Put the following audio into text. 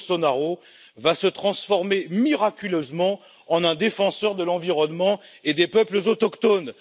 Bolsonaro va se transformer miraculeusement en un défenseur de l'environnement et des peuples autochtones.